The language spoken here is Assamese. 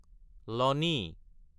লনি